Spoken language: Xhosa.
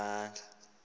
nomandla